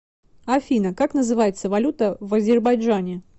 афина как называется валюта в азербайджане